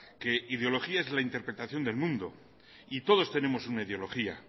que ideología es la interpretación del mundo y todos tenemos una ideología